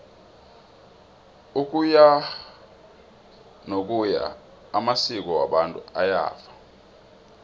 ukuyanokuya amasko wabantu ayafa